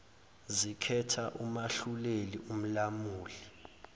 zikhetha umahluleli umlamuli